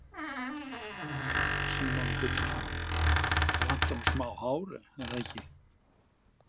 Símon Birgisson: Það vantar nú smá hár, er það ekki?